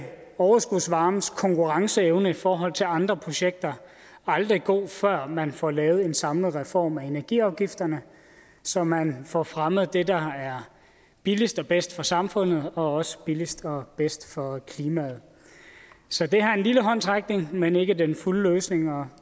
overskudsvarmes konkurrenceevne i forhold til andre projekter aldrig god før man får lavet en samlet reform af energiafgifterne så man får fremmet det der er billigst og bedst for samfundet og også billigst og bedst for klimaet så det her er en lille håndsrækning men ikke den fulde løsning og